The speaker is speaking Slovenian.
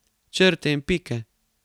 Črte in pike.